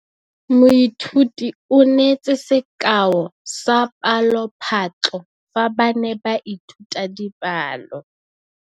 Moithuti o neetse sekaô sa palophatlo fa ba ne ba ithuta dipalo.